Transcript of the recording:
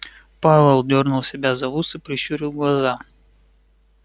пауэлл дёрнул себя за ус и прищурил глаза